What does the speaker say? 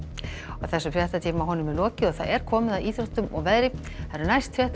þessum fréttatíma er lokið og það er komið að íþróttum og veðri næstu fréttir